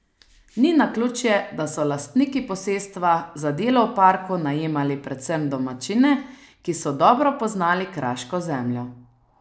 Ni naključje, da so lastniki posestva, za delo v parku najemali predvsem domačine, ki so dobro poznali kraško zemljo.